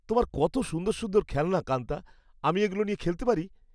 তোমার কত সুন্দর সুন্দর খেলনা, কান্তা। আমি এগুলো নিয়ে খেলতে পারি?